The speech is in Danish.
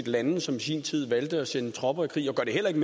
lande som i sin tid valgte at sende tropper i krig og gør det heller ikke